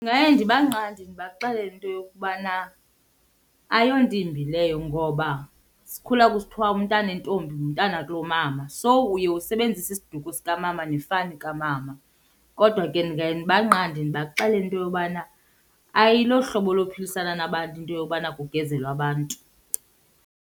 Ndingaye ndibanqande ndibaxelele into yokubana ayonto imbi leyo ngoba sikhula kusithwa umntana wentombi ngumntana wakulomama, so uye usebenzise isiduko sikamama nefani kamama. Kodwa ke ndingaye ndibanqande ndibaxelele into yobana ayilohlobo lophilisana nabantu into yobana kugezelwe abantu.